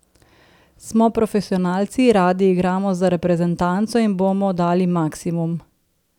Smo profesionalci, radi igramo za reprezentanco in bomo dali maksimum.